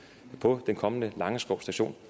på den kommende langeskov station